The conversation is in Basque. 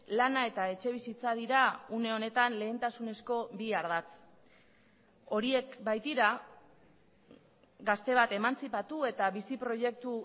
lana eta etxebizitza dira une honetan lehentasunezko bi ardatz horiek baitira gazte bat emantzipatu eta bizi proiektu